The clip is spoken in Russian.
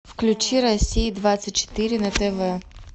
включи россия двадцать четыре на тв